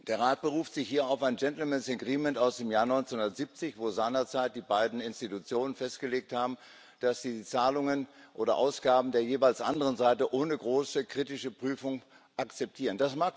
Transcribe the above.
Der Rat beruft sich hier auf ein Gentlemen´s Agreement aus dem Jahr 1970, in dem seinerzeit die beiden Institutionen festgelegt haben, dass sie die Zahlungen oder Ausgaben der jeweils anderen Seite ohne große kritische Prüfung akzeptieren.